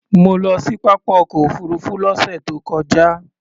Mo lọ sí pápá ọkọ̀ òfuurufú lọ́sẹ̀ tó kọjá.